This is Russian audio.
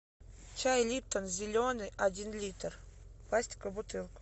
чай липтон зеленый один литр в пластиковой бутылке